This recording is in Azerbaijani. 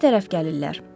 Bizə tərəf gəlirlər.